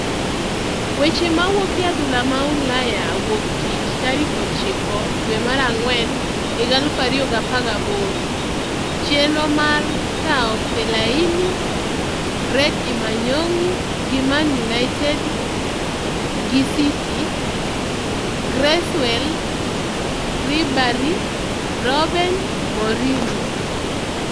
Weche mawuok e adhula ma Ulaya wuo tich 09.04.2018: Chenro mar kawo Fellaini, Fred imanyogi gi Man Utd gi City, Cresswell, Ribery, Robben, Mourinho